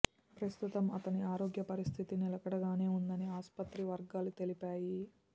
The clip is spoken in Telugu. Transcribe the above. ప్రస్తుతం అతని ఆరోగ్య పరిస్ధితి నిలకడగానే ఉందని ఆసుపత్రి వర్గాలు తెలిపాయి